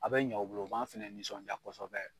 A be ɲɛ u bolo o b'an fɛnɛ nisɔnja kosɛbɛ